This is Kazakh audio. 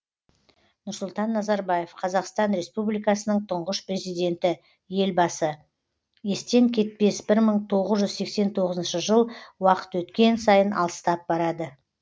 нұрсұлтан назарбаев қазақстан республикасының тұңғыш президенті елбасы естен кетпес бір мың тоғыз жүз сексен тоғызыншы жыл уақыт өткен сайын алыстап барады